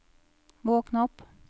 våkn opp